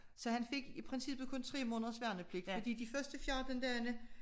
Så han fik i princippet kun 3 måneders værnepligt fordi de første 14 dage